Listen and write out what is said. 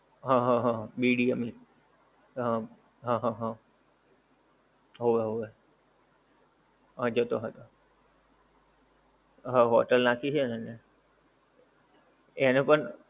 હા હા હા BDM. હા. હા હા હા. હોવે હોવે. હા જતો હતો. હા હોટેલ નાખી છે ને એણે. એણે પણ